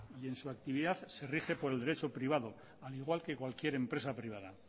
y en su actividad se rige por el derecho privado al igual que cualquier empresa privada